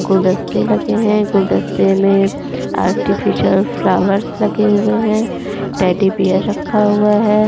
गुलदस्ते लगे है गुलदस्ते में आर्टिफीशियल फ्लावर्स लगे हुए है टेडी बियर रखा हुआ है।